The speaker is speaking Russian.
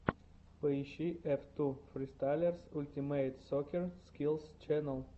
поищи эф ту фристайлерс ультимэйт соккер скиллс ченнэл